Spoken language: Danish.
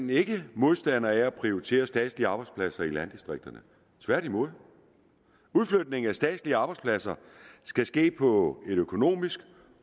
vi ikke modstandere af at prioritere statslige arbejdspladser i landdistrikterne tværtimod udflytningen af statslige arbejdspladser skal ske på et økonomisk